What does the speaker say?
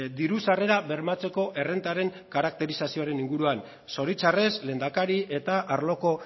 diru sarrerak bermatzeko errentaren karakterizazioren inguruan zoritxarrez lehendakari eta arloko